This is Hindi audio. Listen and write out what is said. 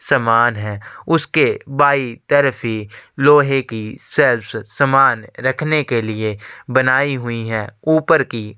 सामान है उसके बाई तरफ ही लोहे की सेफ सामान रखने के लिए बनाई हुई हैं।